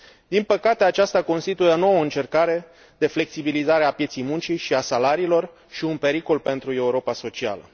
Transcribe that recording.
Din păcate, aceasta constituie o nouă încercare de flexibilizare a pieței muncii și a salariilor și un pericol pentru Europa socială.